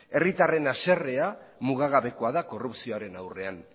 herritarren haserrea mugagabea da korrupzioaren aurrean